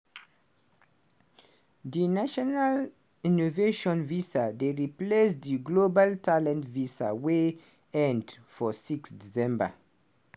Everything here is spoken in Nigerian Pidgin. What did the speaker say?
di national innovation visa dey replace di global talent visa wey end for 6 december.